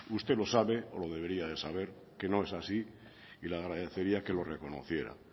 usted lo sabe o lo debería de saber que no es así y le agradecería que lo reconociera